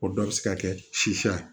O dɔ bɛ se ka kɛ sisiya ye